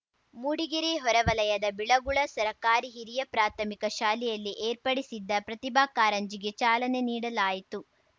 ಮೂಡಿಗೆರೆ ಹೊರವಲಯದ ಬಿಳಗುಳ ಸರಕಾರಿ ಹಿರಿಯ ಪ್ರಾಥಮಿಕ ಶಾಲೆಯಲ್ಲಿ ಏರ್ಪಡಿಸಿದ್ದ ಪ್ರತಿಭಾ ಕಾರಂಜಿಗೆ ಚಾಲನೆ ನೀಡಲಾಯಿತು